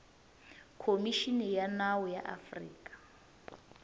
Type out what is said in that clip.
khomixini ya nawu ya afrika